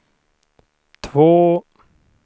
två